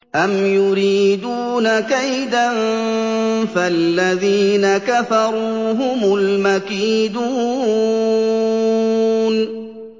أَمْ يُرِيدُونَ كَيْدًا ۖ فَالَّذِينَ كَفَرُوا هُمُ الْمَكِيدُونَ